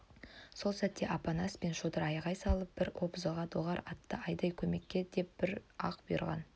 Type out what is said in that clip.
сол сәтте апанас пен шодыр айғай салып бар обозға доғар атты айда көмекке деп бір-ақ бұйырған